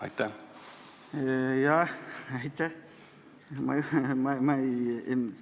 Aitäh!